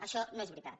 això no és veritat